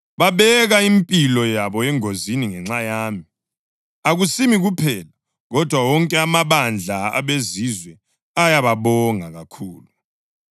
Babeka impilo yabo engozini ngenxa yami. Akusimi kuphela, kodwa wonke amabandla abeZizwe ayababonga kakhulu.